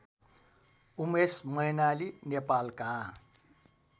उमेश मैनाली नेपालका